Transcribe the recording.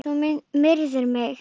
Þú myrðir mig!